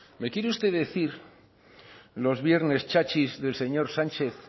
me quiere usted decir los viernes chachis del señor sánchez